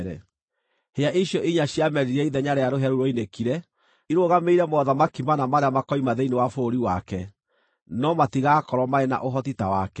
Hĩa icio inya ciamerire ithenya rĩa rũhĩa rũu ruoinĩkire irũgamĩrĩire mothamaki mana marĩa makoima thĩinĩ wa bũrũri wake, no matigaakorwo marĩ na ũhoti ta wake.